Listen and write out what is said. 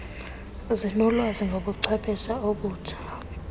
zinolwazi ngobuchwephesha obutsha